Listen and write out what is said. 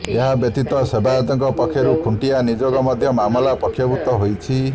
ଏହା ବ୍ୟତୀତ ସେବାୟତଙ୍କ ପକ୍ଷରୁ ଖୁଣ୍ଟିଆ ନିଯୋଗ ମଧ୍ୟ ମାମଲାରେ ପକ୍ଷଭୁକ୍ତ ହୋଇଛି